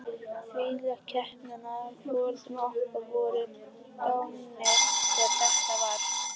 Þvílík heppni að foreldrar okkar voru dánir þegar þetta var.